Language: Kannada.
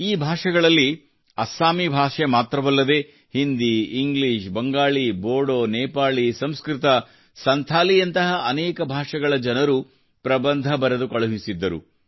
ಈ ಭಾಷೆಗಳಲ್ಲಿ ಅಸ್ಸಾಮಿ ಭಾಷೆ ಮಾತ್ರವಲ್ಲದೇ ಹಿಂದೀ ಇಂಗ್ಲೀಷ್ ಬಂಗಾಳಿ ಬೋಡೋ ನೇಪಾಳಿ ಸಂಸ್ಕೃತ ಸಂಥಾಲಿಯಂತಹ ಅನೇಕ ಭಾಷೆಗಳ ಜನರು ಪ್ರಬಂಧ ಬರೆದು ಕಳುಹಿಸಿದ್ದರು